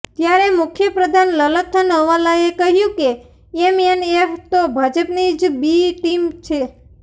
ત્યારે મુખ્યપ્રધાન લલથનહવાલાએ કહ્યુ કે એમએનએફ તો ભાજપની જ બી ટીમ છે